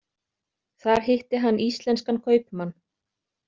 Þar hitti hann íslenskan kaupmann.